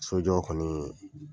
Sojɔ kɔni